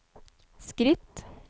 skritt